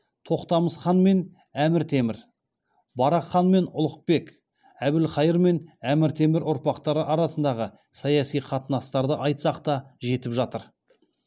тоқтамыс хан мен әмір темір барақ хан мен ұлықбек әбілқайыр хан мен әмір темір ұрпақтары арасындағы саяси қатынастарды айтсақ та жетіп жатыр